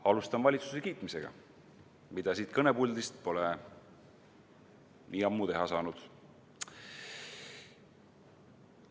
Alustan valitsuse kiitmisega, mida siit kõnepuldist pole ammu teha saanud.